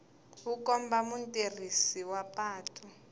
wu komba mutirhisi wa patu